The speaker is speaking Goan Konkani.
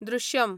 दृश्यम